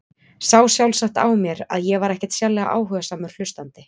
Sá sjálfsagt á mér að ég var ekkert sérlega áhugasamur hlustandi.